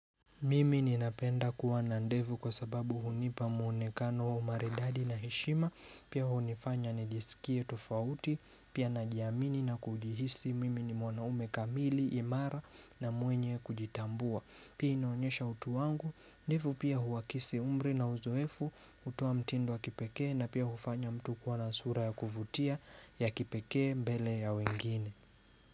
Mimi ninapenda kuwa na ndevu kwa sababu hunipa muonekano wa umaridadi na heshima pia hunifanya nijisikie tofauti pia najiamini na kujihisi mimi ni mwanaume kamili, imara na mwenye kujitambua pia inaonyesha utu wangu ndevu pia huwakisi umri na uzoefu utoa mtindo wa kipekee na pia hufanya mtu kuwa na sura ya kuvutia ya kipekee mbele ya wengine.